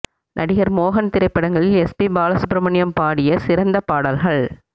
நடிகர் மோகன் திரைப்படங்களில் எஸ் பி பாலசுப்ரமணியம் பாடிய சிறந்த பாடல்கள்